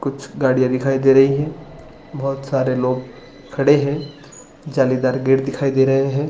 कुछ गाड़िया दिखाई दे रही है बहुत सारे लोग खड़े है जालीदार गेट दिखाई दे रहे है |